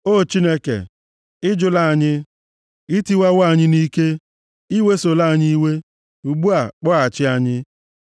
O Chineke, ị jụla anyị, ị tịwawo anyị nʼike; i wesola anyị iwe, ugbu a, kpọghachi anyị.